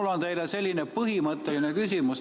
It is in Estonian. Mul on teile selline põhimõtteline küsimus.